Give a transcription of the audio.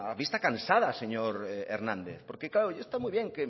vista cansada señor hernández porque claro está muy bien